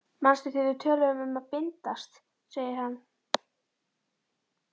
Manstu þegar við töluðum um að bindast, segir hann.